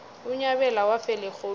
unyabela wafela erholweni